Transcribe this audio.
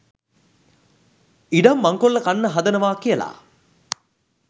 ඉඩම් මංකොල්ල කන්න හදනවා කියලා